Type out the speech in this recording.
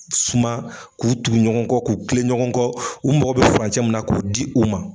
Suman k'u tugu ɲɔgɔn kɔ, k'u tilen ɲɔgɔn kɔ, u mogo bɛ furancɛ min na k'o di u ma.